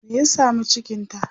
me ya samu cikinta?